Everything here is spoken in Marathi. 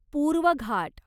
पूर्व घाट